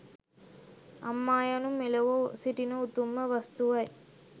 අම්මා යනු මෙලොව සිටින උතුම්ම වස්තුවයි